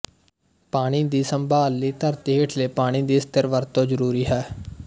ਪਾਣੀ ਦੀ ਸੰਭਾਲ ਲਈ ਧਰਤੀ ਹੇਠਲੇ ਪਾਣੀ ਦੀ ਸਥਿਰ ਵਰਤੋਂ ਜ਼ਰੂਰੀ ਹੈ